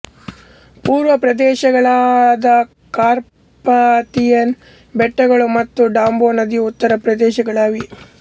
ಪೂರ್ವಾ ಪ್ರದೇಶಗಳಾದ ಕಾರ್ಪಾಥಿಯಾನ್ ಬೆಟ್ಟಗಳು ಮತ್ತು ಡಾಂಬೊ ನದಿಯು ಉತ್ತರ ಪ್ರದೇಶಗಳಾಗಿವೆ